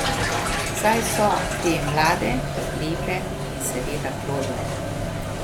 Saj so te mlade, lepe in seveda plodne.